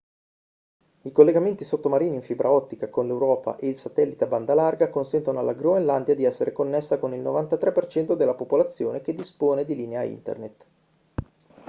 i collegamenti sottomarini in fibra ottica con l'europa e il satellite a banda larga consentono alla groenlandia di essere connessa con il 93% della popolazione che dispone di linea internet